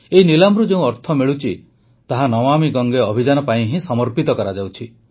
ଏହି ନିଲାମରୁ ଯେଉଁ ଅର୍ଥ ମିଳୁଛି ତାହା ନମାମୀ ଗଙ୍ଗେ ଅଭିଯାନ ପାଇଁ ହିଁ ସମର୍ପିତ କରାଯାଉଛି